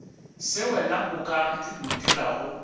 se wena o ka ntirago